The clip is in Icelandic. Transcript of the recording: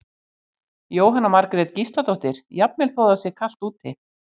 Jóhanna Margrét Gísladóttir: Jafnvel þó það sé kalt úti?